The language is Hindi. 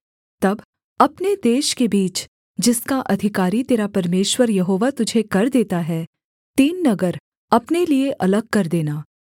तब अपने देश के बीच जिसका अधिकारी तेरा परमेश्वर यहोवा तुझे कर देता है तीन नगर अपने लिये अलग कर देना